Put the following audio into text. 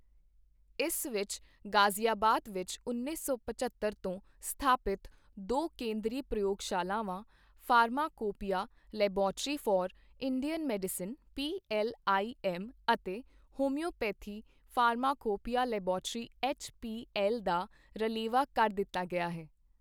ਇਸ ਵਿੱਚ ਗ਼ਾਜ਼ੀਆਬਾਦ ਵਿੱਚ ਉੱਨੀ ਸੌ ਪਝੱਤਰ ਤੋਂ ਸਥਾਪਿਤ ਦੋ ਕੇਂਦਰੀ ਪ੍ਰਯੋਗਸ਼ਾਲਾਵਾਂ - pharmacopoeia laboratory for Indian medicine P L I M ਅਤੇ homoeopathy pharmacopoeia laboratory H P L ਦਾ ਰਲੇਵਾਂ ਕਰ ਦਿੱਤਾ ਗਿਆ ਹੈ।